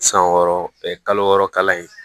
San wɔɔrɔ kalo wɔɔrɔ kalan ye